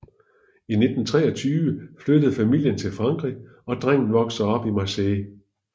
I 1923 flyttede familien til Frankrig og drengen voksede op i Marseille